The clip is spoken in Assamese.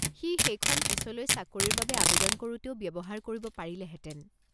সি সেইখন পিছলৈ চাকৰিৰ বাবে আৱেদন কৰোতেও ব্যৱহাৰ কৰিব পাৰিলেহেতেন।